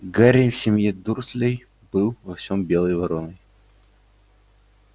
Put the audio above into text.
гарри в семье дурслей был во всём белой вороной